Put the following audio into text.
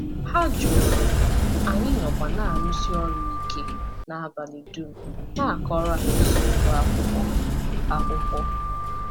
Ha jụụrụ, anyị nọkwa na-arụsi ọrụ ike n’abalị dum na-akọrọ ha eziokwu akwụkwọ. akwụkwọ.